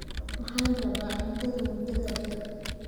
waxaan rabaaCuntada muddada dheer